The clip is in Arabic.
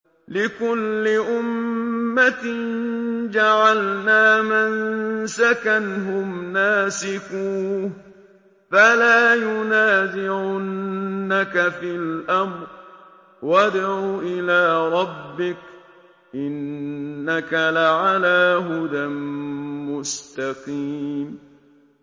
لِّكُلِّ أُمَّةٍ جَعَلْنَا مَنسَكًا هُمْ نَاسِكُوهُ ۖ فَلَا يُنَازِعُنَّكَ فِي الْأَمْرِ ۚ وَادْعُ إِلَىٰ رَبِّكَ ۖ إِنَّكَ لَعَلَىٰ هُدًى مُّسْتَقِيمٍ